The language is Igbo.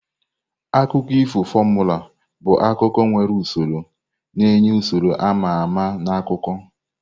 Akụkọ ifo formula bụ akụkọ nwere usoro, na-enye usoro a ma ama na akụkọ.